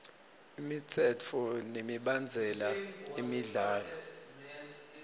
imitsetfo nemibandzela yemidlalo